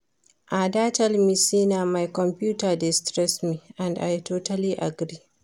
Ada tell me say na my computer dey stress me and I totally agree